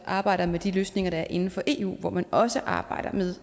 arbejder med de løsninger der er inden for eu hvor man også arbejder med